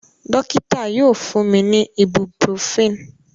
Dokita yoo fun mi ni ibuprofen.